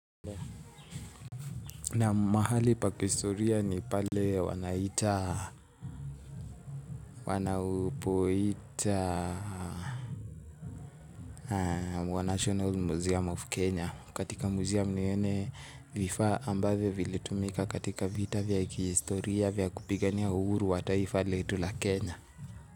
Naam mahali pa kihistoria ni pale wanaita, wanapoita wa National Museum of Kenya. Katika museum ni yenye vifaa ambavyo vilitumika katika vita vya kihistoria vya kupigania uhuru wa taifa letu la Kenya.